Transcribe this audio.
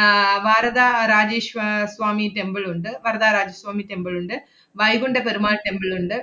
ആഹ് വാരധ രാജേശ്വ~ ആഹ് സ്വാമി temple ഉണ്ട്. വരദാ രാജസ്വാമി temple ഉണ്ട്. വൈകുണ്ഠ പെരുമാൾ temple ഉണ്ട്.